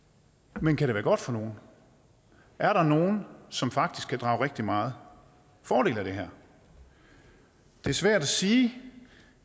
men kan det være godt for nogen er der nogen som faktisk kan drage rigtig meget fordel af det her det er svært at sige